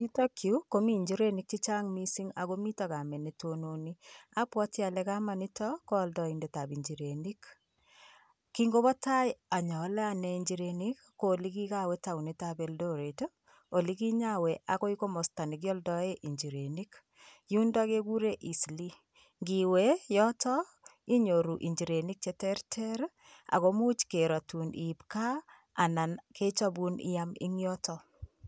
Yutok yu komii njirenik chechang' mising' akomito kamet netononi abwati ale kamet nitok ko aldoindo ab njirenik. Kingopatai a ya-ale anee njirenik' ko ole kigawe taunit ab Eldoret, ole kinyawe agoi komosta ole kialdae njirenik yundo kegure Eastleigh, ngiwe yotok inyoru injirenik cheterter ako muuch kerotun i-ip kaa anan kechapun i-am eng' yotok.